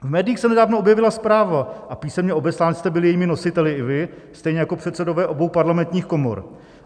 V médiích se nedávno objevila zpráva - a písemně obeslán jste byl jejími nositeli i vy, stejně jako předsedové obou parlamentních komor.